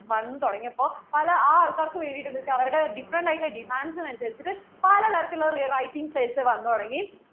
വന്നു തുടങ്ങിയപ്പോൾ പല ആ ആൾക്കാർക്കു വേണ്ടിട്ട് എന്ത് ചെയ്‌തു അവരുടെ different ആയിട്ട് ഉള്ള demands ന് അനുസരിച്ചിട്ട് പല തരത്തിൽ ഉള്ള re writtingssales വന്നു തുടങ്ങി